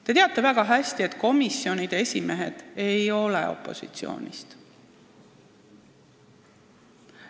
Te teate väga hästi, et komisjonide esimehed ei ole tavaliselt opositsioonist.